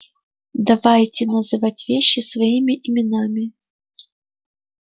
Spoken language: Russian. давайте называть вещи своими именами